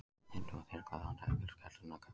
Einnig var þyrla Landhelgisgæslunnar kölluð út